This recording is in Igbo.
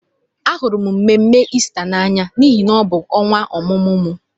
Ahụrụ m mmemme Ista n'anya n'ihi na ọ bụ ọnwa ọmụmụ m.